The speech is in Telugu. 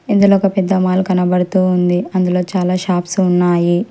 ఇందులో ఒక పెద్ద మాల్ కనబడుతూ ఉంది అందులో చాలా షాప్స్ ఉన్నాయి.